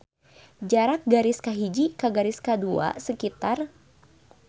Jarak garis kahiji ka garis kadua sekitar.